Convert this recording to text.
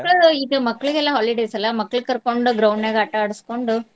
ಮಕ್ಳ ಈಗ ಮಕ್ಳಿಗೆಲ್ಲಾ holidays ಅಲ್ಲಾ ಮಕ್ಳ ಕರ್ಕೊಂಡ್ ground ನ್ಯಾಗ ಆಟಾ ಆಡ್ಸ್ಕೊಂಡು.